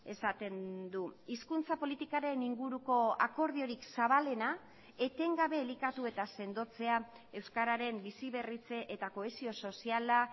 esaten du hizkuntza politikaren inguruko akordiorik zabalena etengabe elikatu eta sendotzea euskararen bizi berritze eta kohesio soziala